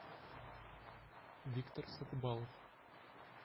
виктор сатыбалов